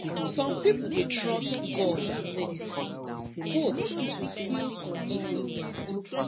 some people dey trust god and medicine both to feel completely well